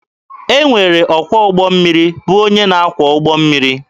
E nwere ọkwọ ụgbọ mmiri bụ onye na akwọ ụgbọ mmiri.